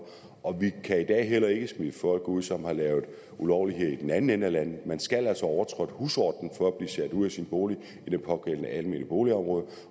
og vi kan i dag heller ikke smide folk ud som har lavet ulovligheder i den anden ende af landet man skal altså have overtrådt husordenen for at blive sat ud af sin bolig i det pågældende almene boligområde